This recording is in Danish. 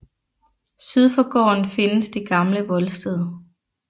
Syd for gården findes det gamle voldsted